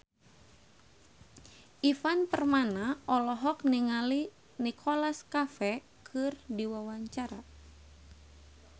Ivan Permana olohok ningali Nicholas Cafe keur diwawancara